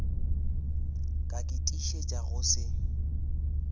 ka ke tiišetša go se